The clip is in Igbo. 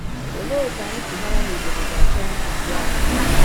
Olee otú anyị si mara na obodo ga-achọ ntụziaka?